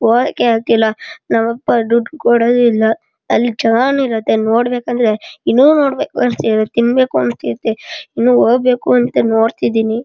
ಹೋಗಕೆ ಅಯ್ತಿಲ್ಲ ನಮ ಅಪ್ಪ ದುಡ್ಡು ಕೊಡದಿಲ ಅಲ್ ಚೆನ್ನಾಗಿ ಇರುಥೆ ಇನ್ನು ನೋಡ್ಬೇಕು ತಿನ್ಬೇಕು ಅನ್ಸತ್ತೆ ಇನ್ನು ಹೋಗ್ಬೇಕು ಅಂತ ನೋಡತಾ ಇದ್ದೀನಿ.